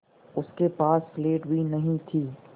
उसके पास स्लेट भी नहीं थी